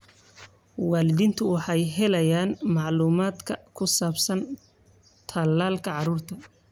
Waalidiintu waxay helayaan macluumaadka ku saabsan tallaalka carruurta.